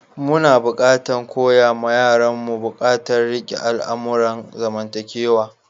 Muna buƙatan koya ma yaran mu bukatan rike al'amuran zamantakewa.